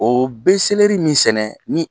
O bɛ selɛri min sɛnɛ ni